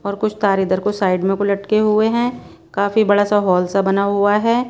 और कुछ तार इधर को साइड में को लटके हुए हैं काफी बड़ा सा हॉल सा बना हुआ है।